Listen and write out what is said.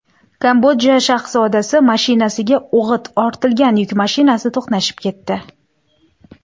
Kambodja shahzodasi mashinasiga o‘g‘it ortilgan yuk mashinasi to‘qnashib ketdi.